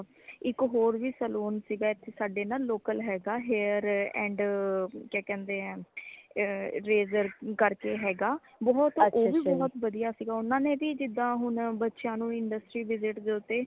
ਇੱਕ ਹੋਰ ਵੀ saloon ਸੀਗਾ ਏਥੇ ਸਾਡੇ ਨਾ local ਹੇਗਾ hair and ਕਯਾ ਕਹਿੰਦੇ ਹੈ ਏ razor ਕਰ ਕੇ ਹੇਗਾ ਬਹੁਤ ਓ ਵੀ ਬਹੁਤ ਵਧੀਆ ਸੀਗਾ ਓਨਾ ਨੇ ਵੀ ਜਿਦਾ ਹੁਣ ਬੱਚਿਆਂ ਨੂ industry visit ਦੇ ਉਤੇ